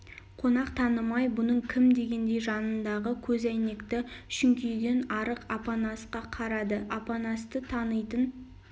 қонақ танымай бұның кім дегендей жанындағы көзәйнекті шүңкиген арық апанасқа қарады апанасты танитын